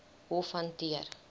hof hanteer